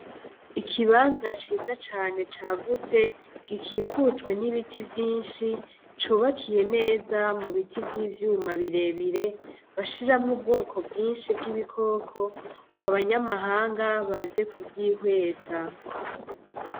Ikibanza ciza cane cagutse gikikujwe nibiti vyinshi, cubakiye neza mubiti vy'ivyuma birebire bashiramwo ubwoko bwinshi bw'ibikoko ngo abanyamahanga baze kuvyihweza.